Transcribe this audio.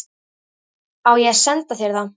Á ég að senda þér það?